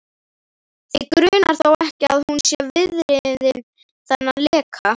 Þig grunar þó ekki, að hún sé viðriðin þennan leka?